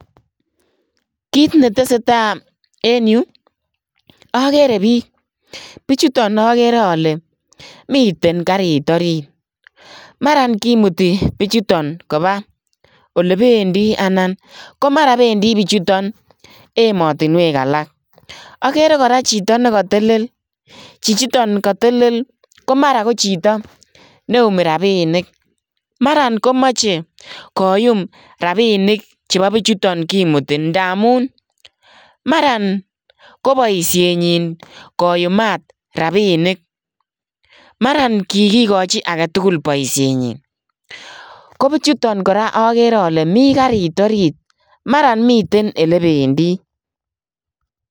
Kiit ne tesetai en Yuu agere biik bichutoon agere ale miten kariit oriit maraan komutii bichutoon kobaa olebendii anan maraan kobendii bichutoon ematinweek alaak agere kora chitoo neka tell chichitoon katelel ko mara ko chitoo neumii rapinik maran komachei koyum rapinik che bo bichutoon kakimutii ndamuun maraan ko boisienyin koyumaat rapinik maran kigigachi chii tugul boisienyin ko bichutoo kora agere ale mi kariit oriit maraan miten ole bendii.